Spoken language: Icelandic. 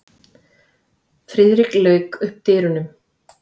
Friðrik lauk upp dyrunum.